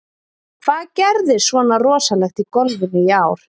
Hvað gerðist svona rosalegt í golfinu í ár?